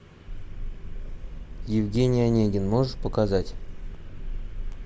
евгений онегин можешь показать